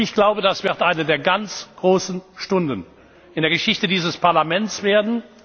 Ich glaube, das wird eine der ganz großen Stunden in der Geschichte dieses Parlaments werden.